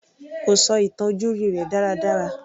Kò sọ ìtàn ojúrí rẹ̀ dára dára.